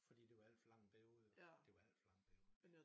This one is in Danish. Fordi det var alt for lang en periode iggår det var alt for lang en periode